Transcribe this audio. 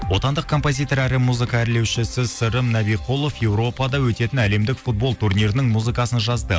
отандық композитор әрі музыка әрлеушісі сырым набиқұлов европада өтетін әлемдік футбол турнирінің музыкасын жазды